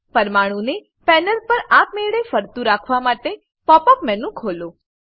પરમાણુંને panel પર આપમેળે ફરતું રાખવા માટે પોપ અપ મેનુ ખોલો